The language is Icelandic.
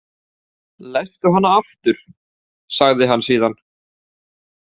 Lestu hana aftur, sagði hann síðan.